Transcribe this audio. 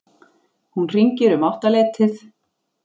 Hún hringir um áttaleytið.